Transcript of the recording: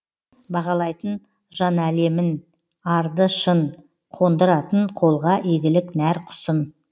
бағалайтын жанәлемін арды шын қондыратын қолға игілік нәр құсын